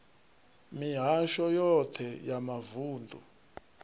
mihasho yoṱhe ya mavun ḓu